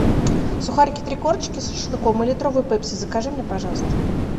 сухарики три корочки с шашлыком и литровую пепси закажи мне пожалуйста